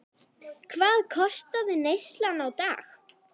Hvað kostaði neyslan á dag?